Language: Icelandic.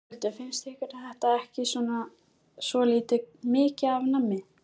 Ingveldur: Finnst ykkur þetta ekki svolítið mikið af nammi?